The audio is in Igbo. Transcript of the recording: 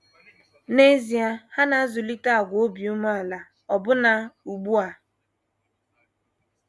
N’ezie, ha na - azụlite àgwà obi umeala ọbụna ugbu a.